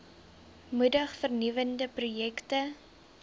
moedig vernuwende projekte